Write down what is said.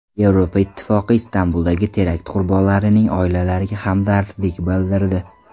Yevropa Ittifoqi Istanbuldagi terakt qurbonlarining oilalariga hamdardlik bildirdi.